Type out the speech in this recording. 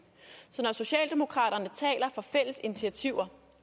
så når socialdemokraterne taler for fælles initiativer